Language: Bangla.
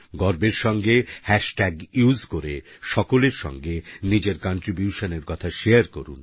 গর্বের সাথে হ্যাশট্যাগ উসে করে সকলের সঙ্গে নিজের কন্ট্রিবিউশন এর কথা শারে করুন